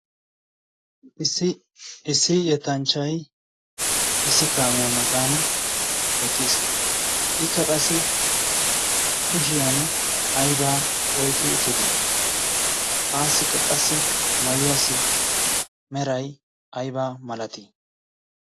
issi issi yettanchchai issi kaamiyaa matan eqqiis. ikka qassi kushiyan aibaa oiqki uttite aa siqqa qassi mayuwaasi merai aybaa malatii?